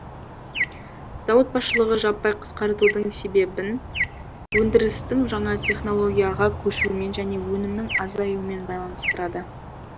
зауыт басшылығы жаппай қысқартудың себебін өндірістің жаңа технологияға көшуімен және өнімнің азаюымен байланыстырады